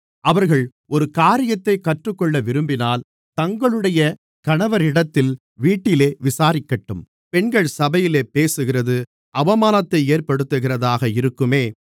அவர்கள் ஒரு காரியத்தைக் கற்றுக்கொள்ளவிரும்பினால் தங்களுடைய கணவரிடத்தில் வீட்டிலே விசாரிக்கட்டும் பெண்கள் சபையிலே பேசுகிறது அவமானத்தை ஏற்படுத்துகிறதாக இருக்குமே